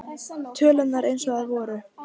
Tölurnar eins og þær voru.